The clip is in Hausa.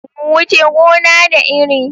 Wuce gona, da iri.